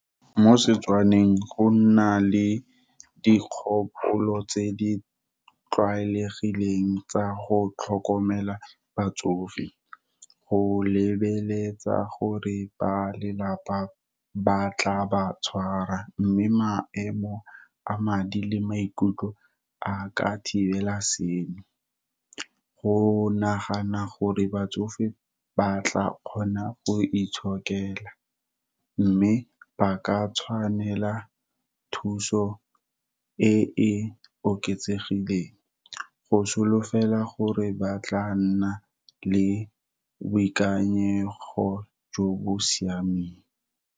Mo Setswaneng go nna le dikgopolo tse di tlwaelegileng tsa go tlhokomela batsofe, go lebeletsa ka gore ba lelapa ba tla ba tshwara mme maemo a madi le maikutlo a ka thibela seno. Go nagana gore batsofe ba tla kgona go itshokela, mme ba ka tshwanela thuso e e oketsegileng, go solofela gore ba tla nna le boikanyego jo bo siameng.